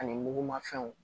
Ani mugumafɛnw